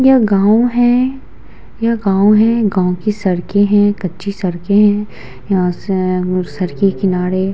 यह गांव है। यह गांव है। गांव की सड़क हैं कच्ची सड़के हैं। यहाँ से अअ सड़क के किनारे--